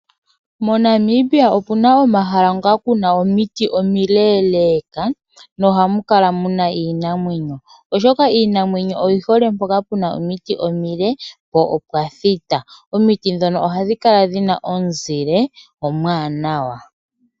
Mo Namibia opuna omahala ngoka kuna omiti omileeleka nohamu kala muna iinamwenyo, oshoka iinamwenyo oyi hole mpoka puna omiti omile po opwa thita .Omiti ndhono ohadhi kala dhina omuzile omwaanawa.